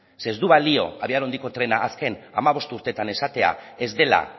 ze ez du balio abiadura handiko trena azken hamabost urteetan esatea ez dela